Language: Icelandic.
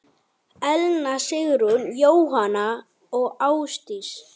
Elna Sigrún, Jóhanna og Ásdís.